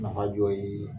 Nafa dɔ ye